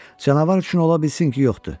Canavar üçün ola bilsin ki, yoxdur.